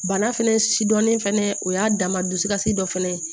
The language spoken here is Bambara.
Bana fɛnɛ si dɔnnen fɛnɛ o y'a dama dusukasi dɔ fɛnɛ ye